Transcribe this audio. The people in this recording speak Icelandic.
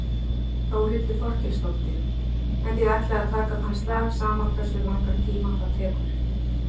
Þórhildur Þorkelsdóttir: En þið ætlið að taka þann slag sama hversu langan tíma það tekur?